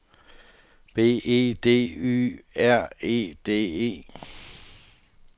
B E D Y R E D E